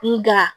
Nga